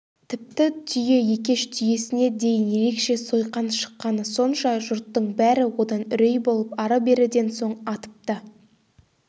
тіпті түйе екеш түйесіне дейін ерекше сойқан шыққаны сонша жұрттың бәрі одан үрей болып ары-беріден соң атып та